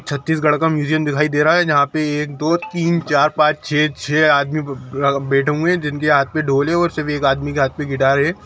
छत्तीसगढ़ का म्यूजियम दिखाई दे रहा है जहां पे एक दो तीन चार पांच छे छे आदमी बैठे हुए है जिनके हाथ में ढोल है और सिर्फ एक आदमी के हाथ में गिटार है।